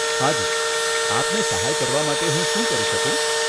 હાજી, આપને સહાય કરવા માટે હું શું કરી શકું?